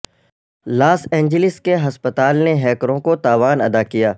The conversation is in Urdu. لاس اینجلس کے ہسپتال نے ہیکروں کو تاوان ادا کیا